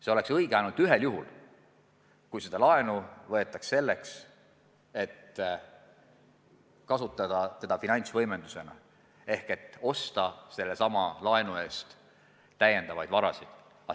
See oleks õige ainult ühel juhul: kui seda laenu võetaks selleks, et kasutada seda finantsvõimendusena ehk osta selle laenu eest täiendavaid varasid.